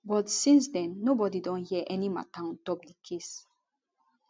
but since den nobody don hear any mata ontop di case